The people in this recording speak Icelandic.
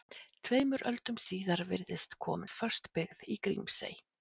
Tveimur öldum síðar virðist komin föst byggð í Grímsey.